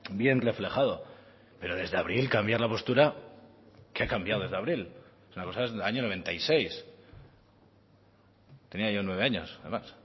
bien reflejado pero desde abril cambiar la postura qué ha cambiado desde abril una cosa es del año noventa y seis tenía yo nueve años además